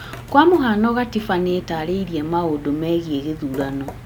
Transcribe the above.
Kwa mũhano katiba nĩ ĩtarĩirie maũndũ megiĩ gĩthurano